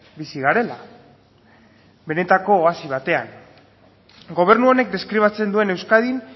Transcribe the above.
bizi garela benetako oasi batean gobernu honek deskribatzen duen euskadin